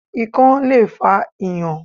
Ikán le fa Ìyàn.